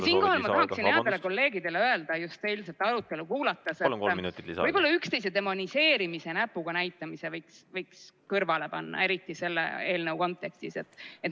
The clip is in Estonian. Siinkohal ma tahaksin headele kolleegidele öelda just eilset arutelu kuulates, et võib-olla üksteise demoniseerimise, näpuga näitamise võiks kõrvale panna, eriti selle eelnõu kontekstis.